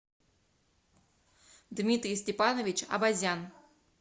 дмитрий степанович авазян